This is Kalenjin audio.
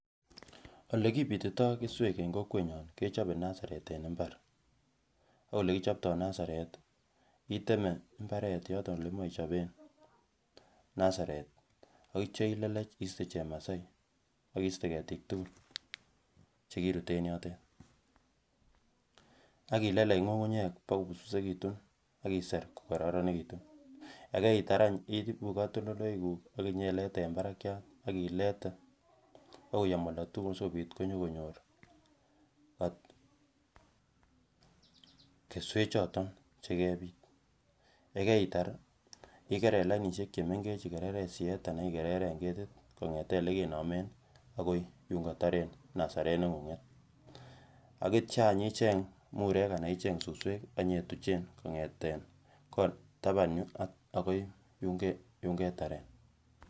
olekibititoi keswek eng kokwenyon kechobe nasaret eng mbar, ak olekichoptoi nasaret iteme mbaret yoton yemoche ichoben nasaret ak itya ilelech iste chemasai ak iste ketiik tukul chekirut en yotet ak ilelech ngungunyek kobokobusbusekitun ak iser kokoronekitun yekeitar any iibu katoltoleiwekuk akinyeilete eng barakyat ak ilete kobokoyom oldotukul asikobit konyokonyor keswek choton chekebiit. Yekeitar ih ikerer lainisiek chemengech ikereren siyet anan ikereren ketit kongeten olekenomen akoi yunkotoren nasaret nengunget akitya icheng mureek anan icheng susweek akinyetuchen kongeten taban yu akoi yun ketaren